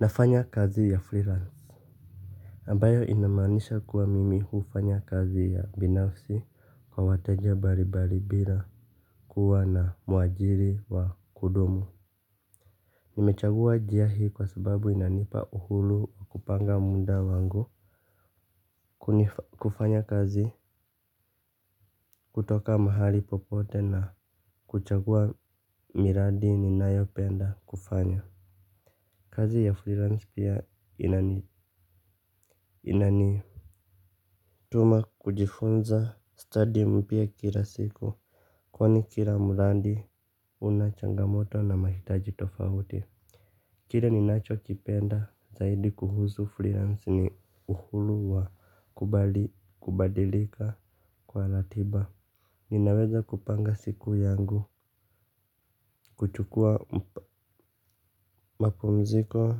Nafanya kazi ya freelance ambayo inamaanisha kuwa mimi hufanya kazi ya binafsi kwa wateja mbalimbali bila kuwa na muajiri wa kudumu. Nimechagua njia hii kwa sababu inanipa uhuru wa kupanga muda wangu. Kufanya kazi kutoka mahali popote na kuchagua miradi ninayopenda kufanya kazi ya freelance pia inani tuma kujifunza stadi mpya kila siku. Kwani kila mradi una changamoto na mahitaji tofauti. Kile ninachokipenda zaidi kuhusu freelance ni uhuru wa kubadilika kwa ratiba. Ninaweza kupanga siku yangu kuchukua mapumziko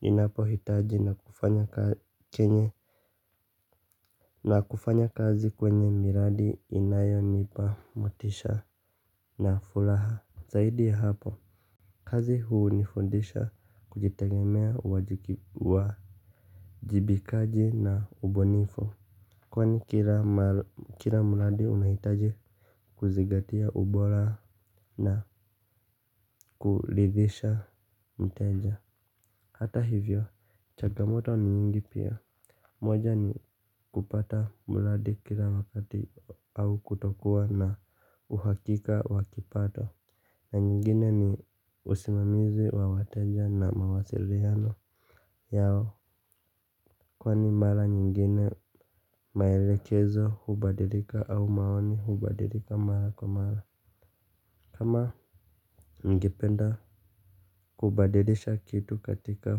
ninapohitaji na kufanya chenye na kufanya kazi kwenye miradi inayonipa motisha na furaha zaidi ya hapo kazi hunifundisha kujitegemea uwajibikaji na ubunifu. Kwani kila mradi unahitaji kuzingatia ubora na kuridhisha mteja. Hata hivyo changamoto ni nyingi pia. Moja ni kupata mradi kila wakati au kutokuwa na uhakika wa kipato. Na nyingine ni usimamizi wa wateja na mawasiliano yao kwani mara nyingine maelekezo hubadilika au maoni hubadilika mara kwa mara. Kama ningependa kubadilisha kitu katika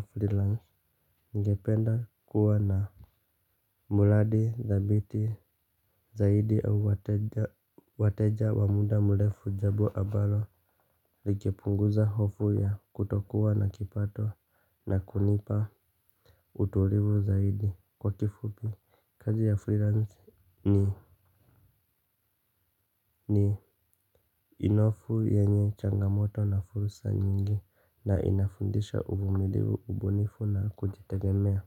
freelance ningependa kuwa na mradi thabiti zaidi au wateja wa muda mrefu jambo ambalo lingepunguza hofu ya kutokuwa na kipato na kunipa utulivu zaidi kwa kifupi kazi ya freelance ni nofu yenye changamoto na fursa nyingi na inafundisha uvumilivu ubunifu na kujitegemea.